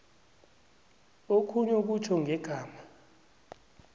okhunye kutjho ngegama